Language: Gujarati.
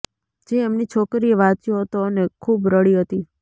જે એમની છોકરી એ વાંચ્યો હતો અને ખુબ રડી હતી